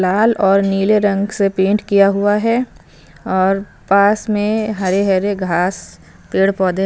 लाल और नीले रंग से पेंट किया हुआ हैं ओर पास में हरे हरे गास पेड़ पोधे--